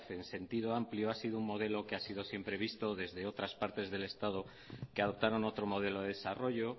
en sentido amplio ha sido un modelo que ha sido siempre visto desde otras partes del estado que adoptaron otro modelo de desarrollo